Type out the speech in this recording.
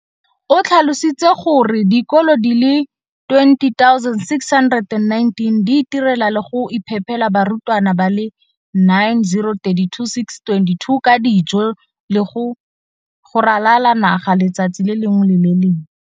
o tlhalositse gore dikolo di le 20 619 di itirela le go iphepela barutwana ba le 9 032 622 ka dijo go ralala naga letsatsi le lengwe le le lengwe.